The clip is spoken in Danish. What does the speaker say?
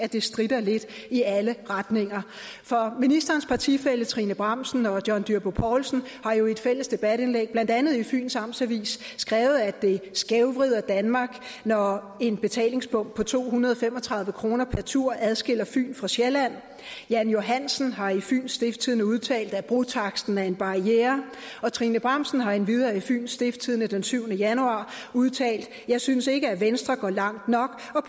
det stritter lidt i alle retninger for ministerens partifæller trine bramsen og john dyrby paulsen har jo i et fælles debatindlæg blandt andet i fyens amtsavis skrevet at det skævvrider danmark når en betalingsbom og to hundrede og fem og tredive kroner per tur adskiller fyn fra sjælland jan johansen har i fyens stiftstidende udtalt at brotaksten er en barriere trine bramsen har endvidere i fyens stiftstidende den syvende januar udtalt jeg synes ikke at venstre går langt nok